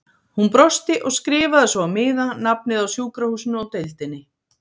Hún brosti og skrifaði svo á miða nafnið á sjúkrahúsinu og deildinni.